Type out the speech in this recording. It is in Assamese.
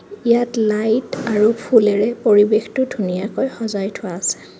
ইয়াত লাইট আৰু ফুলেৰে পৰিৱেশটো ধুনীয়াকৈ সজাই থোৱা আছে.